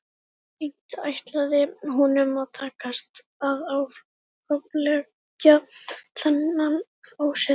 Seint ætlaði honum að takast að afleggja þennan ósið.